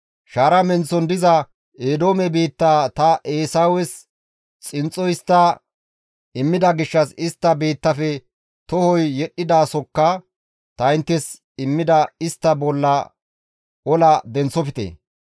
Shaara menththon diza Eedoome biittaa ta Eesawes xinxxo histta immida gishshas istta biittafe tohoy yedhdhizasokka ta inttes immida istta bolla ola denththofte.